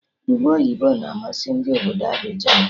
Ube oyibo na-amasị Ndị obodo Abịjan